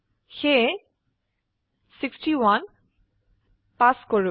সেয়ে 61 পাস কৰো